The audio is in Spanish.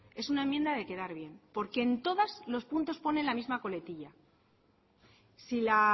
es una enmienda de quedar bien porque en todos los puntos pone la misma coletilla si la